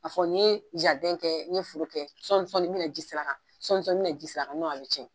A fɔ n'i ye jarden kɛ n'i ye foro kɛ sɔɔni n bɛna na ji sɛr'a kan sɔɔni n bɛna ji sɛr'a kan a bɛ tiɲɛ.